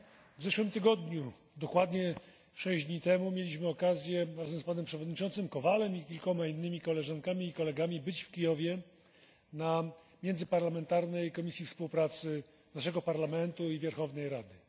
W zeszłym tygodniu, dokładnie sześć dni temu, mieliśmy okazję, razem z panem przewodniczącym Kowalem i kilkoma innymi koleżankami i kolegami, być w Kijowie na Międzyparlamentarnej Komisji Współpracy naszego Parlamentu i Werchownej Rady.